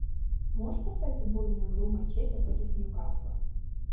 можешь поставить футбольную игру манчестер против ньюкасла